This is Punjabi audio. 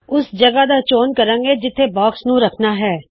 ਜਿਸ ਜਗਹ ਬਾਕਸ ਨੂੰ ਰਖਨਾ ਹੈ ਉੱਥੇ ਮਾਉਸ ਨੂੰ ਲੈ ਕਰ ਜਾਓ